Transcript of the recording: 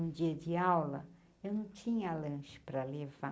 Um dia de aula, eu não tinha lanche para levar.